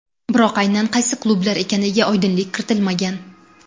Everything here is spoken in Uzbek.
Biroq aynan qaysi klublar ekaniga oydinlik kiritilmagan.